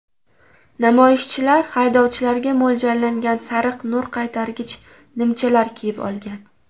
Namoyishchilar haydovchilarga mo‘ljallangan sariq nur qaytargich nimchalar kiyib olgan.